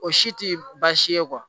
O si ti baasi ye